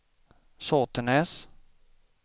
Sotenäs